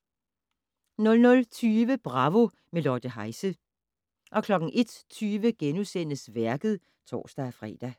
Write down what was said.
00:20: Bravo - med Lotte Heise 01:20: Værket *(tor-fre)